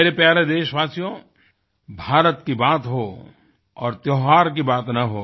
मेरे प्यारे देशवासियो भारत की बात हो और त्यौहार की बात न हो